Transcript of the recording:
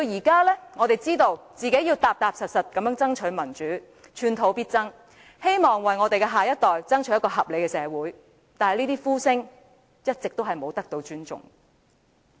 今天，我們知道必須踏實地爭取民主，寸土必爭，希望為下一代爭取一個合理的社會，但這些呼聲一直未被尊重。